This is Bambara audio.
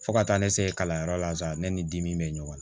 Fo ka taa ne se kalanyɔrɔ la sa ne ni dimi be ɲɔgɔn na